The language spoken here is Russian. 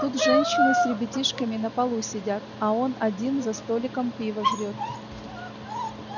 тут женщины с ребятишками на полу сидят а он один за столиком пиво жрёт